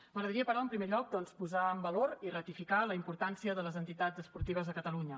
m’agradaria però en primer lloc doncs posar en valor i ratificar la importància de les entitats esportives a catalunya